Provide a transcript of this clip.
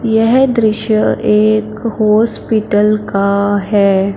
यह दृश्य एक हॉस्पिटल का है।